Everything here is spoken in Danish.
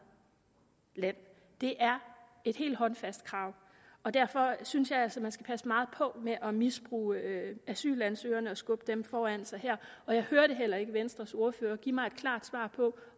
land det er et helt håndfast krav og derfor synes jeg altså man skal passe meget på med at misbruge asylansøgerne og skubbe dem foran sig her og jeg hørte heller ikke venstres ordfører give mig et klart svar på